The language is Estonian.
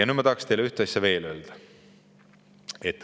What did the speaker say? Nüüd ma tahaksin teile ühte asja veel öelda.